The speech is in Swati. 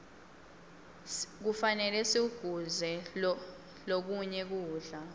kufane sikuguze lokinye kudla